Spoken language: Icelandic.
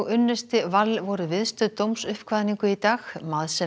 unnusti Wall voru viðstödd dómsuppkvaðningu í dag